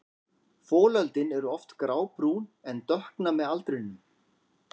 Folöldin eru oft grábrún en dökkna með aldrinum.